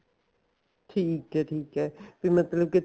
ਠੀਕ ਐ ਠੀਕ ਐ ਵੀ ਮਤਲਬ ਕੀ